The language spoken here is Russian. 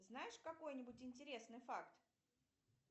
знаешь какой нибудь интересный факт